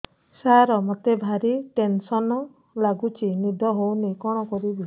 ସାର ମତେ ଭାରି ଟେନ୍ସନ୍ ଲାଗୁଚି ନିଦ ହଉନି କଣ କରିବି